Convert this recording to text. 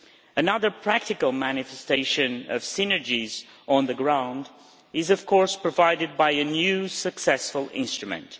Another practical manifestation of synergies on the ground is of course provided by a new successful instrument.